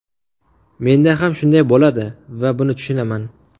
Menda ham shunday bo‘ladi va buni tushunaman.